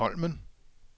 Holmen